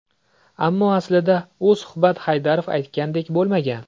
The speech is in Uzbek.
Ammo aslida u suhbat Haydarov aytgandek bo‘lmagan.